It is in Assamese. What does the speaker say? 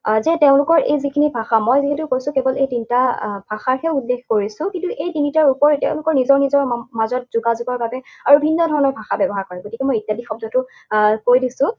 আহ যে তেওঁলোকৰ এই যিখিনি ভাষা, মই যিহেতু কৈছোঁ কেৱল এই তিনিটা আহ ভাষাকহে উল্লেখ কৰিছো। কিন্তু এই তিনিটাৰ উপৰিও তেওঁলোকৰ নিজৰ নিজৰ মাজত যোগাযোগৰ বাবে আৰু ভিন্ন ধৰণৰ ভাষা ব্যৱহাৰ কৰে। গতিকে মই ইত্যাদি শব্দটো আহ কৈ দিছো।